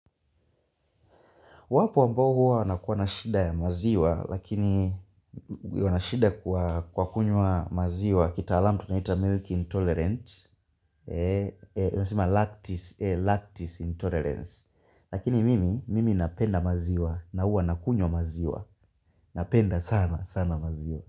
Wapo ambao huwa wanakuwa nashida ya maziwa, lakini huwa nashida kwa kunywa maziwa, kita alamu tunaita milk intolerance, tunasema lactis intolerance, lakini mimi, mimi napenda maziwa, na huwa nakunywa maziwa, napenda sana, sana maziwa.